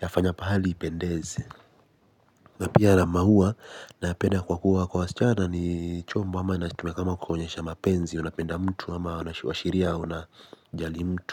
ya fanya pahali ipendeze. Napia na mahuwa napenda kwa kuwa kwa wasichana ni chombo ama na chitumia kama kuonyesha mapenzi. Unapenda mtu ama washiri unajali mtu.